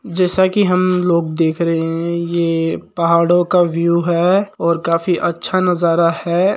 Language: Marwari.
जैसा की हम लोग देख रहे है ये पहाड़ो का व्यू है और काफी अच्छा नज़ारा है।